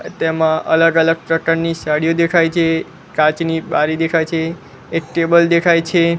તેમા અલગ અલગ પ્રકારની સાડીઓ દેખાઈ છે કાચની બારી દેખાઈ છે એક ટેબલ દેખાઇ છે.